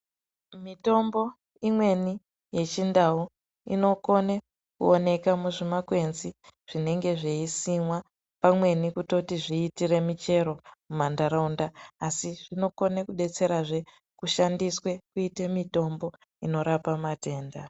Mitombo imweni yechindau inokone kuoneke muzvimakwenzi zvinenge zveisimwa pamweni kutoti zviitire muchero mumantaraunda asi zvinokone kudetserazve kushandiswe kuitwe mutombo inorapa matenda.